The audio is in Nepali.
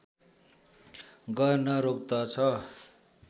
गर्न रोक्दछ